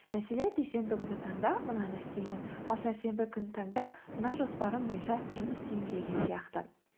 мәселе дүйсенбі күні таңда мынаны істеймін ал сәрсенбі күні таңда мына жоспарым бойынша жұмыс істеймін деген сияқты